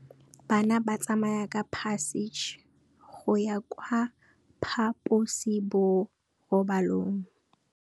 Bana ba tsamaya ka phašitshe go ya kwa phaposiborobalong.